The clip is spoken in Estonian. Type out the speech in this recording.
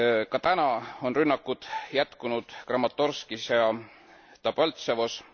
Ka täna on rünnakud jätkunud Kramatorskis ja Debaltseves.